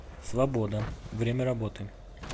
свобода время работы